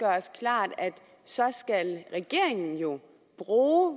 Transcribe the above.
os klart at så skal regeringen jo bruge